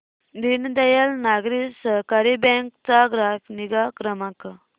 दीनदयाल नागरी सहकारी बँक चा ग्राहक निगा क्रमांक